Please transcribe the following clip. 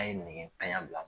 An ye negetanya bila.